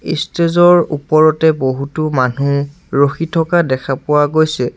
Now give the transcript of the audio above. Stage ৰ ওপৰতে বহুতো মানুহ ৰখি থকা দেখা পোৱা গৈছে।